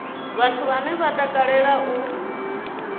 vhathu vhane vha takalea u